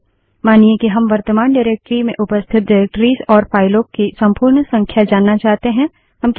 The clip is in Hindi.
कमांड 4 मानिए कि हम वर्तमान डाइरेक्टरी निर्देशिका में उपस्थित डाइरेक्टरिसनिर्देशिकाओं और फाइलों की संपूर्ण संख्या जानना चाहते हैं